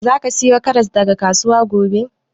Za ka sayo karas daga kasuwa gobe?